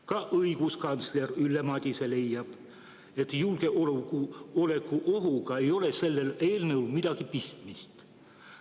Ka õiguskantsler Ülle Madise leiab, et julgeolekuohuga ei ole sellel eelnõul midagi pistmist.